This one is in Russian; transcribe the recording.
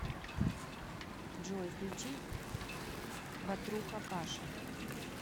джой включи батруха паша